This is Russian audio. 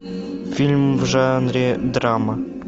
фильм в жанре драма